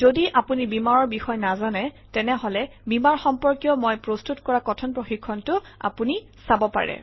যদি আপুনি Beamer অৰ বিষয়ে নাজানে তেনেহলে বীমাৰ সম্পৰ্কীয় মই প্ৰস্তুত কৰা কথন প্ৰশিক্ষণটো আপুনি চাব পাৰে